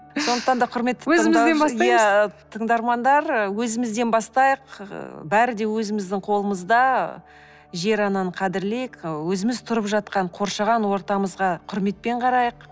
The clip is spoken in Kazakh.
сондыктан да құрметті иә тыңдармандар өзімізден бастайық ыыы бәрі де өзіміздің қолымызда жер ананы қадірлейік өзіміз тұрып жатқан қоршаған ортамызға құрметпен қарайық